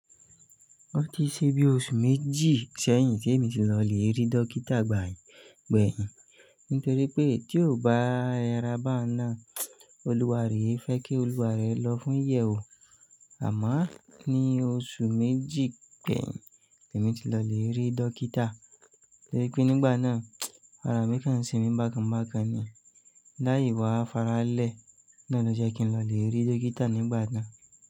Ó ti ṣe bí oṣù méjì sẹ́yìn tí èmi ti lọ lè rí dókítà gbẹ̀hìn, nítorí pé tí ò bá re ra báun náà, olúwa re e fẹ́ kí olúwa ré lọ fún iyẹ̀wo Àmá ní oṣù méjì gbẹ̀hìn, èmi ti lọ lè rí dókítà. Torí pé nígbà náà, ara mi kan ń semi bákan bákan ni. Láì wá faralẹ́, náà ló jẹ́ kí n lọ lè rí dókítà nígbà náà.